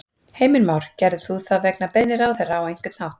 Heimir Már: Gerðir þú það vegna beiðni ráðherra á einhvern hátt?